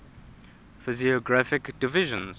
physiographic divisions